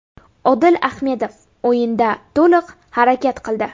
Odil Ahmedov o‘yinda to‘liq harakat qildi.